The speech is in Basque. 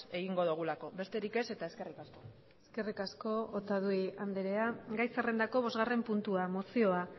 egingo dugulako besterik ez eta eskerrik asko eskerrik asko otadui andrea gai zerrendako bosgarren puntua mozioa